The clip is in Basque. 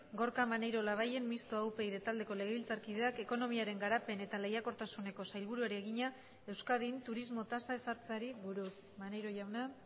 gorka maneiro labayen mistoa upyd taldeko legebiltzarkideak ekonomiaren garapen eta lehiakortasuneko sailburuari egina euskadin turismo tasa ezartzeari buruz maneiro jauna